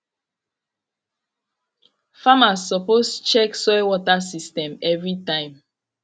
farmers suppose check soil water system every time